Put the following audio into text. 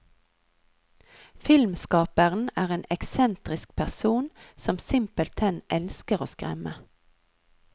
Filmskaperen er en eksentrisk person, som simpelthen elsker å skremme.